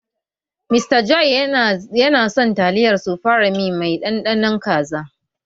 Mr. John yana son taliyar sufreme mai ɗanɗanon kaza.